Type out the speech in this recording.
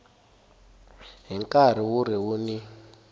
hi nkarhi wu ri wun